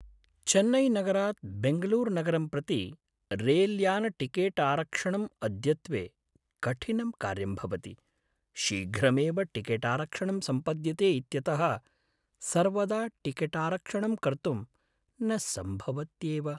चेन्नैनगरात् बेङ्गलूरुनगरं प्रति रैल्यानटिकेटारक्षणं अद्यत्वे कठिनं कार्यं भवति शीघ्रमेव टिकेटारक्षणं सम्पद्यते इत्यतः सर्वदा टिकेटारक्षणं कर्तुं न सम्भवत्यैव।